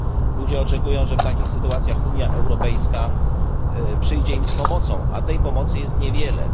Ludzie oczekują, że w takich sytuacjach Unia Europejska przyjdzie im z pomocą, lecz tej pomocy jest niewiele.